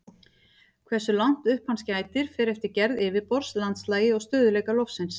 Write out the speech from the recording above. Hversu langt upp hans gætir fer eftir gerð yfirborðs, landslagi og stöðugleika lofsins.